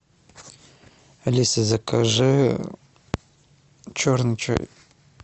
алиса закажи черный чай